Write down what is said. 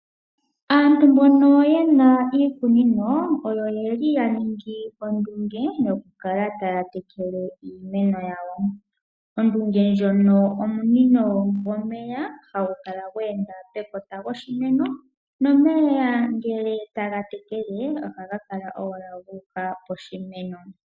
Aantu mbono yena iikunino oyo yeli ya ningi ondunge yoku kala taya tekele iimeno yawo. Ondunge ndjono omunino gomeya hagu kala gwa enda pekota lyoshimeno nomeya ngele taga tekele, ohaga kala owala gu uka poshimeno.